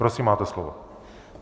Prosím, máte slovo.